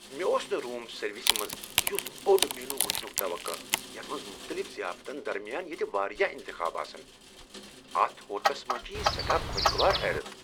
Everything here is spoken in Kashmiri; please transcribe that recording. مےٚ اوس نہٕ روم سروِسہِ منز یُتھ بوڈ مینوٗ وُچھنُك توقع یتھ منز مختلِف ضِیافتن درمِیان ییتہِ وارِیاہ انتخاب آسن ۔ اتھ ہوٹلس منٛز چھ یہ سیٹھاہ خوشگوار حیرت ۔